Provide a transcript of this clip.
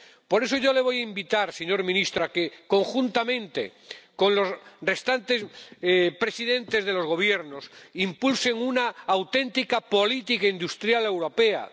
Por eso yo le voy a invitar, señor presidente, a que, conjuntamente con los restantes presidentes de los Gobiernos, impulse una auténtica política industrial europea.